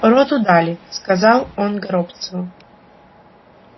роту дали сказал он горобцову